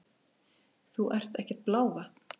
Þú ert ekkert blávatn!